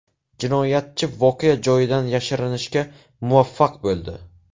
Jinoyatchi voqea joyidan yashirinishga muvaffaq bo‘ldi.